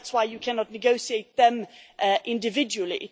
So that is why you cannot negotiate them individually.